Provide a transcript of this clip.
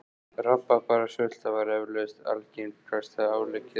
Rabarbarasulta var eflaust algengasta áleggið okkar.